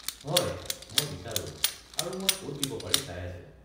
হয়, মই বিচাৰো আৰু মই ক'ত দিব পাৰি চাই আছোঁ।